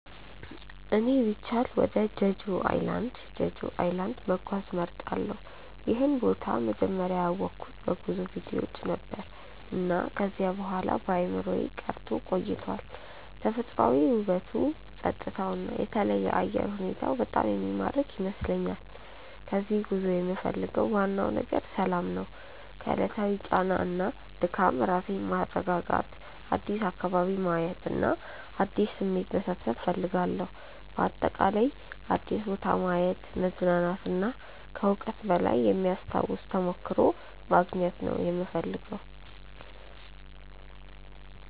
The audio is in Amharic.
እኔ ቢቻል ወደ ጀጁ ኣይላንድ(Jeju Island) መጓዝ እመርጣለሁ። ይህን ቦታ መጀመሪያ ያወቅሁት በጉዞ ቪዲዮዎች ነበር፣ እና ከዚያ በኋላ በአእምሮዬ ቀርቶ ቆይቷል። ተፈጥሯዊ ውበቱ፣ ጸጥታው እና የተለየ አየር ሁኔታው በጣም የሚማርክ ይመስለኛል። ከዚህ ጉዞ የምፈልገው ዋናው ነገር ሰላም ነው። ከዕለታዊ ጫና እና ድካም ራሴን ማስረጋጋት፣ አዲስ አካባቢ ማየት እና አዲስ ስሜት መሰብሰብ እፈልጋለሁ። በአጠቃላይ አዲስ ቦታ ማየት፣ መዝናናት እና ከዕውቀት በላይ የሚያስታውስ ተሞክሮ ማግኘት ነው የምፈልገው።